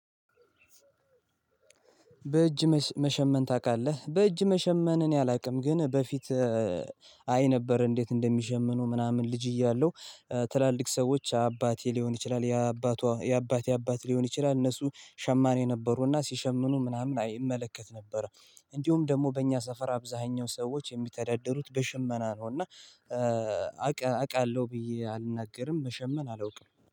በእጅ መሸመን ታቃለህ? በእጅ መሸመን እኔ አላቅም ግን በፊት አይ ነበር እንዴት እንደሚሸምኑ ምናምን ልጅ እያለሁ። ትላልቅ ሰዎች አባቴ ሊሆን ይችላል ያ አባቷ የአባቴ የአባት ሊሆን ይችላል እነሱ ሸማኔ ነበሩና ሲሸምኑ ምናምን አይ እመለከት ነበር። እንዲሁም ደግሞ በእኛ ሰፈር አብዛኛው ሰዎች የሚተዳደሩት በሽመና ነው። እና አቃለሁ ብዬ አልናገርም መሸመን አላውቅም